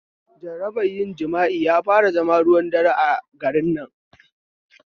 Jarabar yin jimi'a ya fara zama ruwan dare a garin nan